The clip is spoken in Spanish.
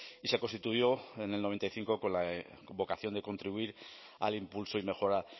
y se constituyó en el noventa y cinco con vocación de contribuir al impulso y mejora